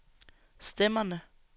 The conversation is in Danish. stemmerne